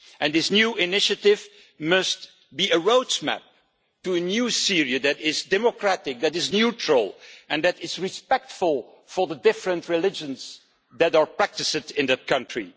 This new initiative must be a roadmap to a new Syria that is democratic, that is neutral, and that is respectful of the different religions that are practised in that country.